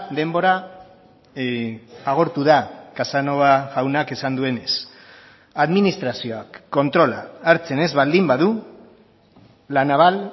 denbora agortu da casanova jaunak esan duenez administrazioak kontrola hartzen ez baldin badu la naval